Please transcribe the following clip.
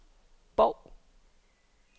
Bov